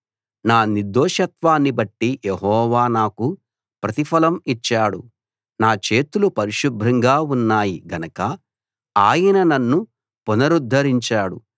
నా నిర్దోషత్వాన్నిబట్టి యెహోవా నాకు ప్రతిఫలం ఇచ్చాడు నా చేతులు పరిశుభ్రంగా ఉన్నాయి గనక ఆయన నన్ను పునరుద్ధరించాడు